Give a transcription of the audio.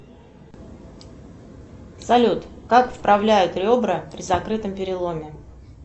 салют как вправляют ребра при закрытом переломе